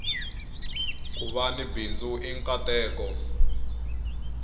kuva ni bindzu i nkateko